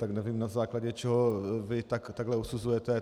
Tak nevím, na základě čeho vy takhle usuzujete.